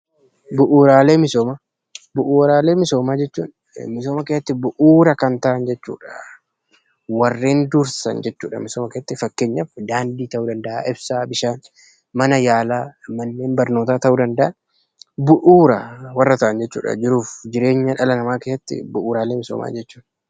Bu'uuraalee misoomaa jechuun misoomaa keessatti bu'uura kan ta'an jechuudha. Fakkeenyaaf daandii, bishaan, mana yaala fi manneen barnootaa ta'uu danda'a. Bu'uuraaleen misoomaa jireenya dhala namaa keessatti bu'uura kan ta'anidha jechuudha.